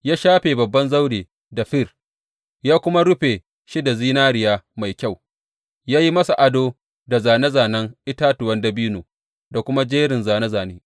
Ya shafe babban zauren da fir, ya kuma rufe shi da zinariya mai kyau; ya yi masa ado da zāne zānen itatuwan dabino da kuma jerin zāne zāne.